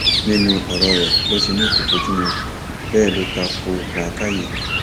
nínú ọrọ ẹ ló ti ní kó bojumu bẹẹ ló ta ko làákàyè